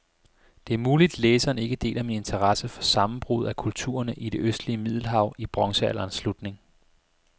Det er muligt, læseren ikke deler min interesse for sammenbruddet af kulturerne i det østlige middelhav i bronzealderens slutning.